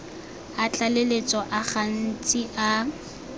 a tlaleletso a gantsi a